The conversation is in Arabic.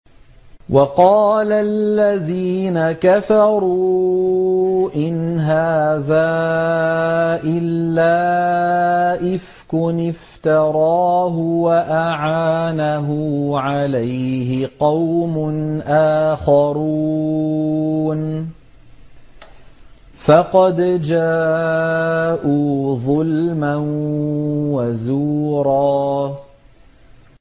وَقَالَ الَّذِينَ كَفَرُوا إِنْ هَٰذَا إِلَّا إِفْكٌ افْتَرَاهُ وَأَعَانَهُ عَلَيْهِ قَوْمٌ آخَرُونَ ۖ فَقَدْ جَاءُوا ظُلْمًا وَزُورًا